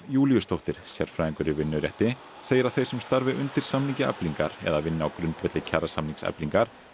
Júlíusdóttir sérfræðingur í vinnurétti segir að þeir sem starfi undir samningi Eflingar eða vinni á grundvelli kjarasamnings Eflingar